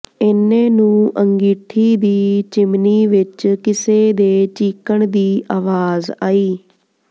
ਏਨੇ ਨੂੰ ਅੰਗੀਠੀ ਦੀ ਚਿਮਨੀ ਵਿੱਚੋਂ ਕਿਸੇ ਦੇ ਚੀਕਣ ਦੀ ਆਵਾਜ਼ ਆਈ